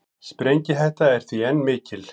Sprengihætta er því enn mikil